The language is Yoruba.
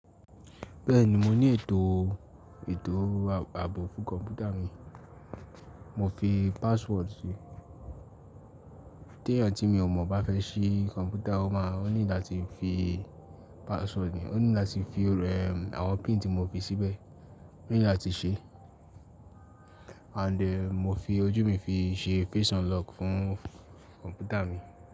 Bẹ́ẹ̀ni, mo ní ètò ètò ààbò fún kọ̀mpútà mi, mo fi password sí. Tí ẹ̀yàn tí mi ò mọ̀ bá fẹ́ ṣí kọ̀mpútà, ó máa o ní láti fi password ní, ó ní láti fi ẹ àwọn pin tí mo fi síbẹ̀, ó ní láti ṣe. And mo fi ojú mi fi ṣe face unlock fún kọ̀mpútà mi.